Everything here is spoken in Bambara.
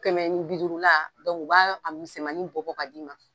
Kɛmɛnibiduurula u b'a misɛnmanin bɔ bɔ ka d'i ma.